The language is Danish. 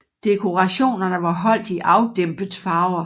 Dekorationerne var holdt i afdæmpet farver